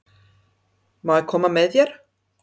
Má ég koma með þér?